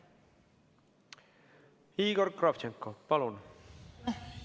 Igor Kravtšenko, palun!